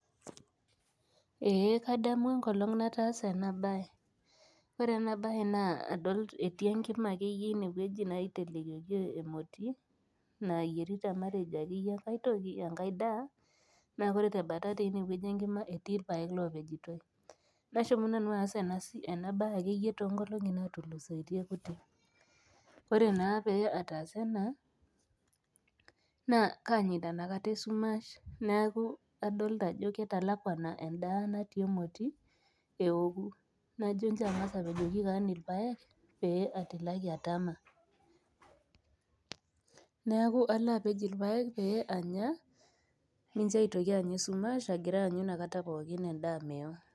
Ee kadamu enkolong nataasa enabae , ore enabae naa adol etii enkima akeyie naitelekioki emoti nayierita matejo akeyie enkae toki , enkae daa , naa ore tembata teine wueji enkima etii irpaek lopejito . Nashomo nanu aas ena siai enabae akeyie tonkolongi natulusoitie kutik , ore naa pataasa ena naa kanyaita inakata esumash neeku adolita ajo katalakwana inakata endaa natii emoti peoku. Najo nchoo angas apejoki kewon irpaek pee atilaki atama , neeku alo apej irpaek pee anya , minjo aitoki anya esumash agira aanyu inakata pookin endaa meo.